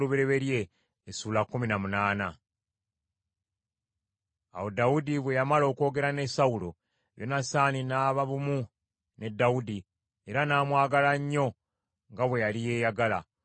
Awo Dawudi bwe yamala okwogera ne Sawulo, Yonasaani n’aba bumu ne Dawudi, era n’amwagala nnyo nga bwe yali yeeyagala.